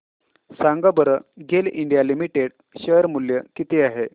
सांगा बरं GAIL India limited share मूल्य किती आहे